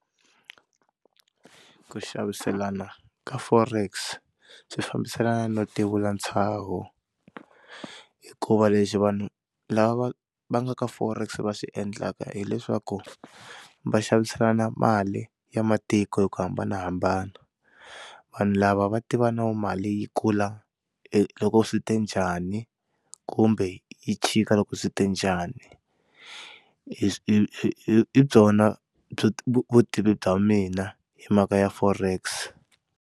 Ku xaviselana ka Forex swi fambisana no ti vula ntshaho hikuva lexi vanhu lava va va nga ka Forex va swi endlaka hileswaku va xaviselana mali ya matiko hi ku hambanahambana vanhu lava va tiva na ku mali yi kula loko swi te njhani kumbe yi chika loko swi te njhani, hi byona byi vutivi bya mina hi mhaka ya Forex.